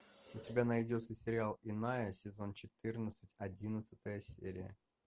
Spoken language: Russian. у тебя найдется сериал иная сезон четырнадцать одиннадцатая серия